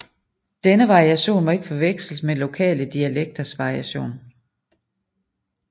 Denne variation må ikke forveksles med lokale dialekters variation